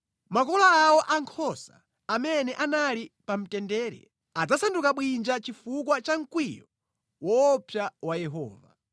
Makola awo a nkhosa amene anali pamtendere adzasanduka bwinja chifukwa cha mkwiyo woopsa wa Yehova.